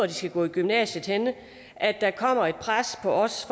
de skal gå i gymnasiet at der kommer et pres på os